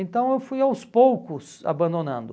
Então eu fui aos poucos abandonando.